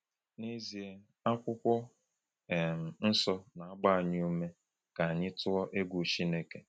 N’ezie, Akwụkwọ um Nsọ na-agba anyị ume ka anyị tụọ egwu Chineke.